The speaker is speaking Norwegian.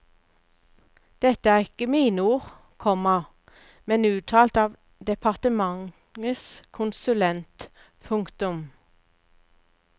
Dette er ikke mine ord, komma men uttalt av departementets konsulent. punktum